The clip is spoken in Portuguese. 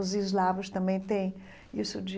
Os eslavos também têm isso de...